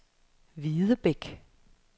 Videbæk